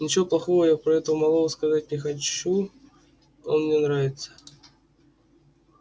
ничего плохого я про этого малого сказать не хочу он мне нравится